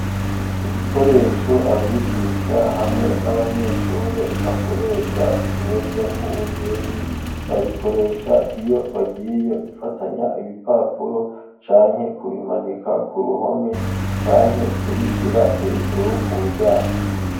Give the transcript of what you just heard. Ibikoresho abigisha hamwe n'abanyeshuri bakoresha bimeze nk'umuzingi babikoresha iyo bagiye gufatanya ibipapuro canke kubimanika ku ruhome canke kubishira hejuru ku muryango.